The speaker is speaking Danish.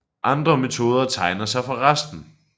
Andre metoder tegner sig for resten